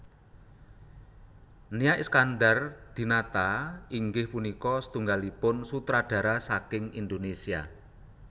Nia Iskandar Dinata inggih punika satunggalipun sutradara saking Indonesia